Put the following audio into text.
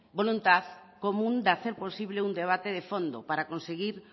voluntad común de hacer posible un debate de fondo para conseguir